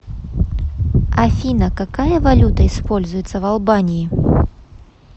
афина какая валюта используется в албании